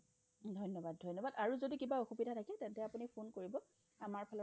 ধন্যবাদ ধন্যবাদ, আৰু যদি কিবা অসুবিধা থাকে আপুনি ফোন কৰিব আমাৰ ফালৰ পৰা